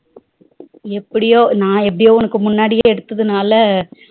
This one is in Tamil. எப்டியோ நா எப்டியோ உனக்கு முன்னாடி எடுத்ததுனால